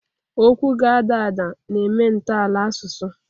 Okwu ga-ada ada, na-eme ntọala asụsụ.